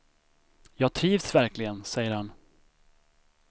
Jag trivs verkligen, säger han.